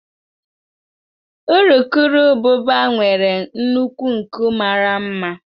Urukurububa nwere nnukwu nku mara mma.